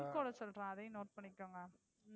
Pincode சொல்லறேன். அதையும் note பண்ணிக்கோங்க.